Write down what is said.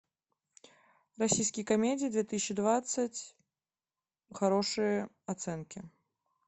российские комедии две тысячи двадцать хорошие оценки